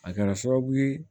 A kɛra sababu ye